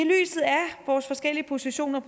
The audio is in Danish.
vores forskellige positioner